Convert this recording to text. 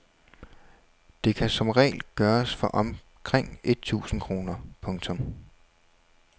Det kan som regel gøres for omkring et tusinde kroner. punktum